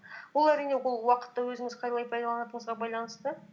бұл әрине ол уақытты өзіңіз қалай пайдаланатыңызға байланысты